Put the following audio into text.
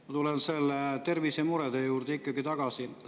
Ma tulen tervisemurede juurde ikkagi tagasi.